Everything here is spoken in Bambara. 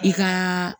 I ka